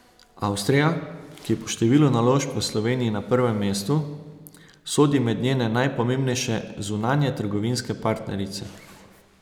Avstrija, ki je po številu naložb v Sloveniji na prvem mestu, sodi med njene najpomembnejše zunanjetrgovinske partnerice.